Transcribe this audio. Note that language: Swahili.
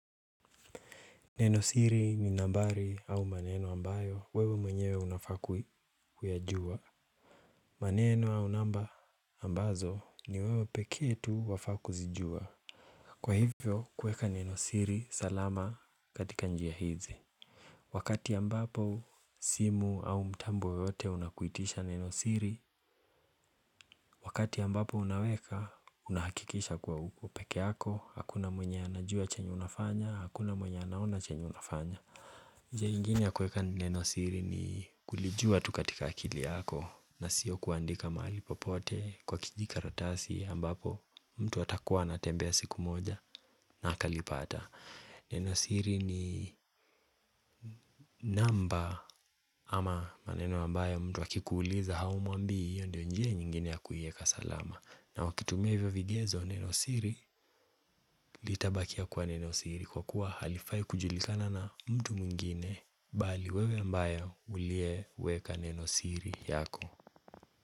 Nenosiri ni nambari au maneno ambayo wewe mwenyewe unafaa kui kuyajua. Maneno au namba ambazo ni wewe pekee tu wafaa kuzijua. Kwa hivyo kuweka nenosiri salama katika njia hizi. Wakati ambapo simu au mtambo yote unakuitisha nenosiri. Wakati ambapo unaweka unahakikisha kuwa uko peke yako. Hakuna mwenye anajua chenye unafanya. Hakuna mwenye anaona chenye unafanya. Nenosiri ni kulijua tu katika akili yako na sio kuandika mahali popote kwa kijikaratasi ambapo mtu atakuwa anatembea siku moja na akalipata nenosiri ni namba ama maneno ambayo mtu akikuuliza haumuambii, hio ndio njia nyingine ya kuieka salama na wakitumia hivyo vigezo neno siri, litabakia kuwa neno siri kwa kuwa halifai kujulikana na mtu mwingine bali wewe ambayo ulie weka neno siri yako.